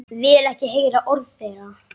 Vil ekki heyra orð þeirra.